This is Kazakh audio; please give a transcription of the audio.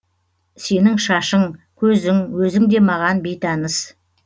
сенің шашың көзің өзің де маған бейтаныс